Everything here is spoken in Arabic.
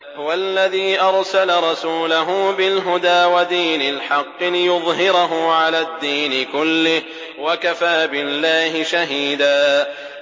هُوَ الَّذِي أَرْسَلَ رَسُولَهُ بِالْهُدَىٰ وَدِينِ الْحَقِّ لِيُظْهِرَهُ عَلَى الدِّينِ كُلِّهِ ۚ وَكَفَىٰ بِاللَّهِ شَهِيدًا